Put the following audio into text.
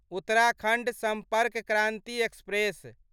Uttarakhand Sampark Kranti express